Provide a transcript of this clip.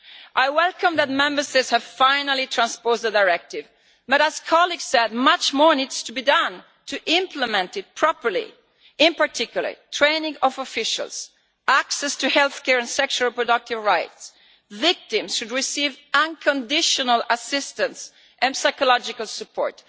I welcome that Member States have finally transposed the directive but, as colleagues have said, much more needs to be done to implement it properly, in particular training of officials, access to health care, and sexual productive rights. Victims should receive unconditional assistance and psychological support.